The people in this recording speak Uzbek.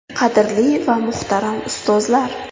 Qadrli va muhtaram ustozlar!